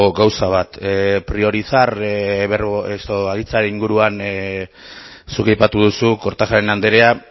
gauza bat priorizar aditzaren inguruan zuk aipatu duzu kortajarena andrea